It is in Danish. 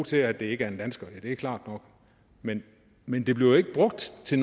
til at det ikke er en dansker det er klart nok men men det bliver jo ikke brugt til